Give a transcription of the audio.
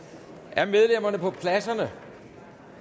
er medlemmerne på deres pladser